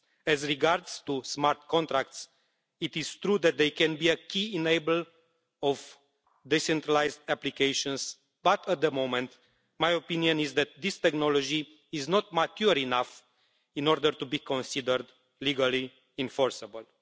As regards smart contracts, it is true that they can be a key enabler of decentralised applications, but at the moment my opinion is that this technology is not mature enough to be considered legally enforceable.